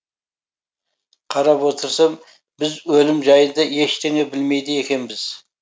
қарап отырсам біз өлім жайында ештеңе білмейді екенбіз